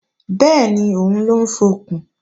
Bẹ́ẹ̀ni, òun ló ń fọkùn